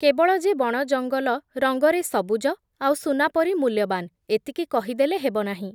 କେବଳ ଯେ ବଣ ଜଙ୍ଗଲ ରଙ୍ଗରେ ସବୁଜ, ଆଉ ସୁନାପରି ମୂଲ୍ୟବାନ୍, ଏତିକି କହିଦେଲେ ହେବନାହିଁ ।